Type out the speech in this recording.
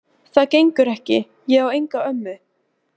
Það gengur ekki, ég á enga ömmu